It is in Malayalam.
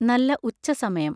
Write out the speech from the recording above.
നല്ല ഉച്ച സമയം.